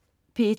P1: